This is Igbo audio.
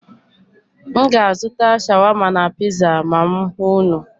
M ga-azụta shawama na piza ma m hụ unu.